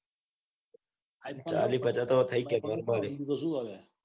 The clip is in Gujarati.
બીજું તો સુ હવે.